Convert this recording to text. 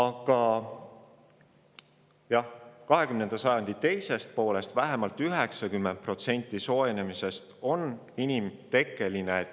Kuid alates 20. sajandi teisest poolest toimunud soojenemisest on vähemalt 90% olnud inimtekkeline.